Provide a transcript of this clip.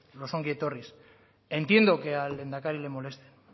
los ongi etorris entiendo que al lehendakari le molesten